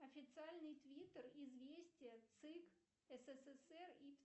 официальный твиттер известия цик ссср и